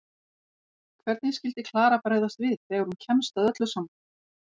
Hvernig skyldi Klara bregðast við þegar hún kemst að öllu saman?